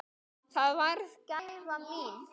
Það varð gæfa mín.